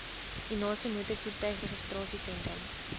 u naaste motorvoertuigregistrasiesentrum